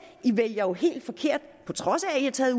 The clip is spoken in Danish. i vælger jo helt forkert på trods af at i har taget